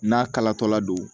N'a kalatɔla don